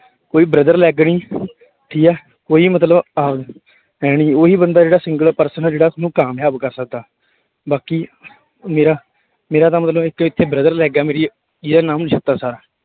ਕੋਈ brother leg ਨੀ ਠੀਕ ਹੈ ਕੋਈ ਮਤਲਬ ਆਹ ਹੈਨੀ ਉਹੀ ਬੰਦਾ ਜਿਹੜਾ single person ਆ ਜਿਹੜਾ ਤੁਹਾਨੂੰ ਕਾਮਯਾਬ ਕਰ ਸਕਦਾ, ਬਾਕੀ ਮੇਰਾ ਮੇਰਾ ਤਾਂ ਮਤਲਬ ਇੱਕ ਇੱਥੇ brother leg ਹੈ ਮੇਰੀ ਜਿਹਦਾ ਨਾਮ ਨਛੱਤਰ ਸਰ।